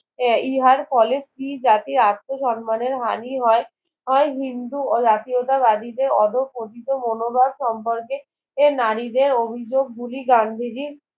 ইহার ফলে ফ্রি জাতির আত্মসম্মানের হানি হয় হয় হিন্দু ও জাতীয়তা বাদীদের অধঃপতিত মনোভাব সম্পর্কে এর নারীদের অভিযোক গুলি গান্ধীজির